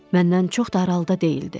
Məndən çox da aralıda deyildi.